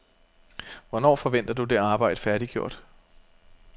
Hvornår forventer du det arbejde færdiggjort?